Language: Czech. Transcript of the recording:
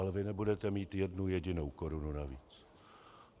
Ale vy nebudete mít jednu jedinou korunu navíc.